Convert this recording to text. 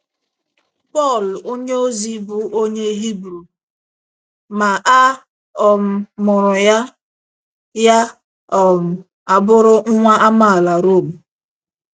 Pọl onyeozi bụ onye Hibru, ma a um mụrụ ya, ya um abụrụ nwa amaala Rom.